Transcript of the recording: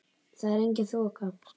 Þar er engin þoka.